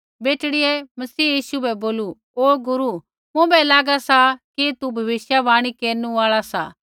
बेटड़ियै मसीह यीशु बै बोलू ओ गुरू मुँभै लागा सा कि तुसै भविष्यवाणी केरनु आल़ै सी